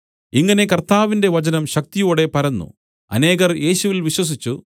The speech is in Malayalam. ഇങ്ങനെ കർത്താവിന്റെ വചനം ശക്തിയോടെ പരന്നു അനേകർ യേശുവിൽ വിശ്വസിച്ചു